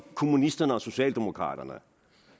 kommunisterne og socialdemokraterne